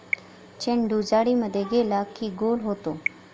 चेंडू जाळीमध्ये गेला की गोल होतो.